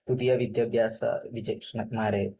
പുതിയ വിദ്യാഭ്യാസ വിജക്ഷണന്മാരെയും